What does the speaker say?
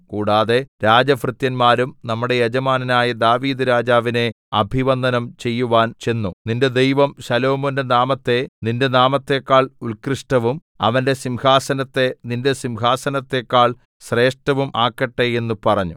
കൂടാതെ രാജഭൃത്യന്മാരും നമ്മുടെ യജമാനനായ ദാവീദ്‌ രാജാവിനെ അഭിവന്ദനം ചെയ്‌വാൻ ചെന്നു നിന്റെ ദൈവം ശലോമോന്റെ നാമത്തെ നിന്റെ നാമത്തെക്കാൾ ഉൽകൃഷ്ടവും അവന്റെ സിംഹാസനത്തെ നിന്റെ സിംഹാസനത്തെക്കാൾ ശ്രേഷ്ഠവും ആക്കട്ടെ എന്ന് പറഞ്ഞു